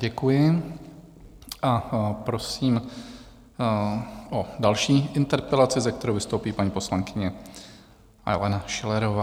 Děkuji a prosím o další interpelaci, se kterou vystoupí paní poslankyně Alena Schillerová.